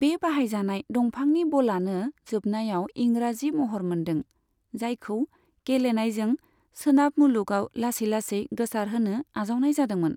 बे बाहायजानाय दंफांनि बलआनो जोबनायाव इंराजि महर मोनदों, जायखौ गेलेनायजों सोनाब मुलुगआव लासै लासै गोसारहोनो आजावनाय जादोंमोन।